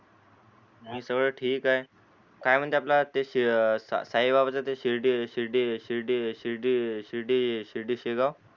नाही सगळं ठीक आहे काय म्हणते आपला साई बाबाच ते शिर्डी शिर्डी शिर्डी शिर्डी शिर्डी सेगाव